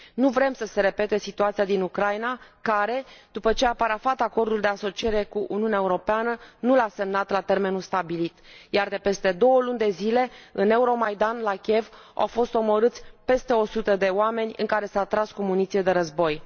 Nu vrem să se repete situația din Ucraina care, după ce a parafat Acordul de asociere cu Uniunea Europeană, nu l a semnat la termenul stabilit, iar de peste două luni de zile, în Euromaidan, la Kiev, au fost omorâți peste 100 de oameni în care s a tras cu muniție de război.